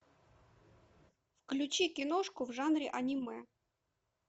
включи киношку в жанре аниме